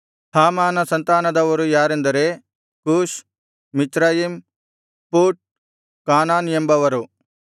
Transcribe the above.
ಹಾಮಾನ ಸಂತಾನದವರು ಯಾರೆಂದರೆ Cush Mizraim Put Canaan ಎಂಬವರು